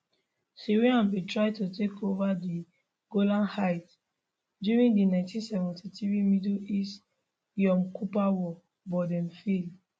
syria bin try to take ova di golan heights during di 1973 middle east yom kippur war but dem fail